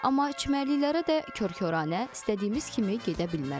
Amma çimərliklərə də kör-koranə, istədiyimiz kimi gedə bilmərik.